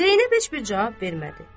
Zeynəb heç bir cavab vermədi.